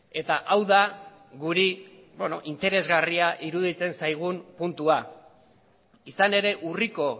eta hau da guri interesgarria iruditzen zaigun puntua izan ere urriko